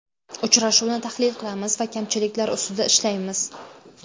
Uchrashuvni tahlil qilamiz va kamchiliklar ustida ishlaymiz.